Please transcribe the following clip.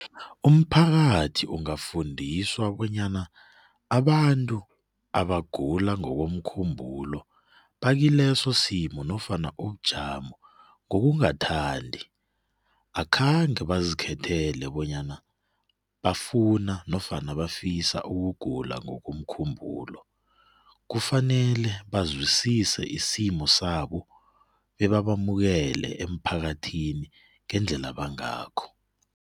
Umphakathi ungafundiswa bonyana abantu abagula ngokomkhumbulo bakileso simo nofana ubujamo ngokungathandi. Akhange bazikhethele bonyana bafuna nofana bafisa ukugula ngokomkhumbulo, kufanele bazwisise isimo sabo bebabamukele emphakathini ngendlela bangakho.